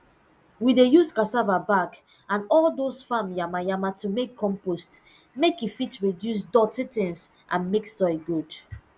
we dey use cassava back and all dose farm yama yama to make compost make e fit reduce doti tins and make soil good